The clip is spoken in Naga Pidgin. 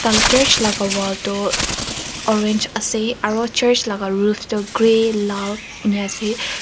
church laga wall toh orange ase aru church laga roof toh grey lal enika ase.